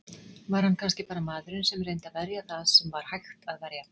Var hann kannski bara maðurinn sem reyndi að verja það sem var hægt að verja?